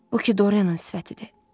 Bu ki Dorianın sifətidir.